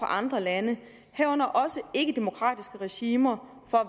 andre lande herunder også ikkedemokratiske regimer for